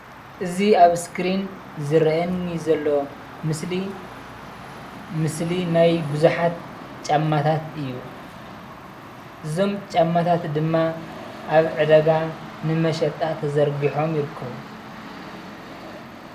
እዚ ኣብ ሰክሪን ዝረአ ዘሎ ምስሊ ናይ ብዙሓት ጫማታት እዩ እዞም ጫማታት ድማ አብ ዕዳጋ ንመሸጣ ተዘርጊሖም ይርከቡ።